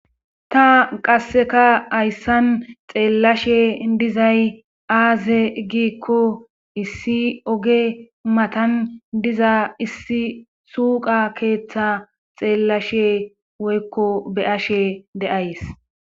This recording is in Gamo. ta qasseka hayssan xeellashe dizay aaze giikko issi oge matan diza issi suqa keeththa xeellashe woykko be ashe deays